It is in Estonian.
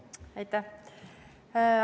Aitäh!